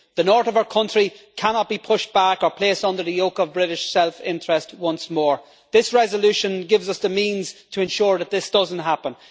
The north of our country cannot be pushed back or placed under the yoke of British self-interest once more. This resolution gives us the means to ensure that this does not happen.